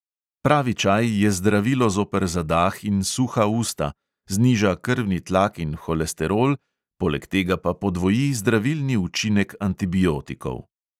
Pravi čaj je zdravilo zoper zadah in suha usta, zniža krvni tlak in holesterol, poleg tega pa podvoji zdravilni učinek antibiotikov.